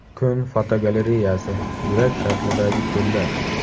Kun fotogalereyasi: yurak shaklidagi ko‘llar.